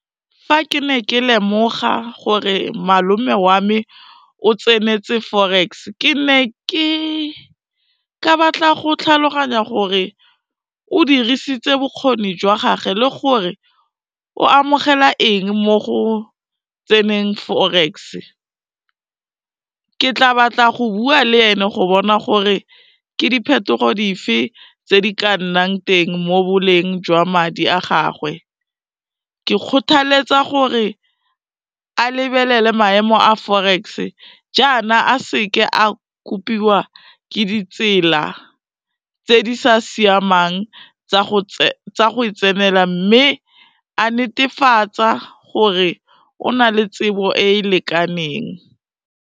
Fa ke ne ke lemoga gore malome wa me o tsenetse Forex, ke ne ke ka batla go tlhaloganya gore o dirisitse bokgoni jwa gage le gore o amogela eng mo go tseneng Forex, ke tla batla go bua le ene go bona gore ke diphetogo di fe tse di ka nnang teng mo boleng jwa madi a gagwe. Ke kgothaletsa gore a lebelele maemo a Forex jaana a seke a kopiwa ke ditsela tse di sa siamang tsa go e tsenela, mme a netefatsa gore o na le tsebo e e lekaneng.